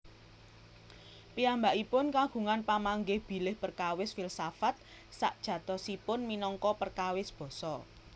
Piyambakipun kagungan pamanggih bilih perkawis filsafat sajatosipun minangka perkawis basa